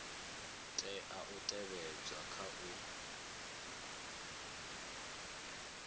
tea u tevhedzwa kha u